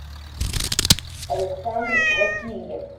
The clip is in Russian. александр васильев